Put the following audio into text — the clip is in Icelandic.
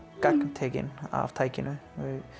gagntekin af tækinu